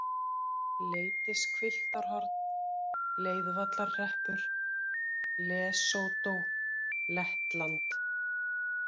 Leitishvilftarhorn, Leiðvallarhreppur, Lesótó, Lettland